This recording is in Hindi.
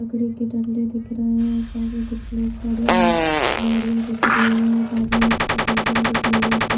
लकड़ी के डंडे दिख रहे हैं और सामने कुछ लोग खड़े हैं गाड़ियाँ दिख रही हैं और सामने बड़ी सी बिल्डिंग दिख रही है ऊपर।